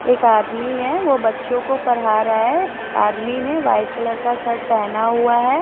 एक आदमी है वो बच्चो को पड़ा रहा है आदमी ने वाइट कलर का शर्ट पहना हुआ है।